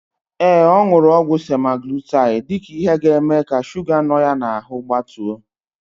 Ee, ọ nụrụ ọgwụ semaglutaid dịka ihe ga-eme ka shuga nọ ya n'ahụ gbatuo.